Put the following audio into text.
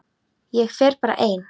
Ég fer bara ein.